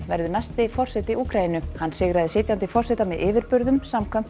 verður næsti forseti Úkraínu hann sigraði sitjandi forseta með yfirburðum samkvæmt